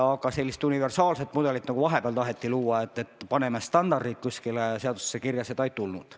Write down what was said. Aga sellist universaalset mudelit, nagu vahepeal taheti luua, et paneme standardid kuskile seadusse kirja, seda ei tulnud.